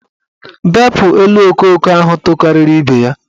Bepu elu okooko ahụ tokariri ibe ya!